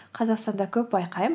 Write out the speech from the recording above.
қазақстанда көп байқаймын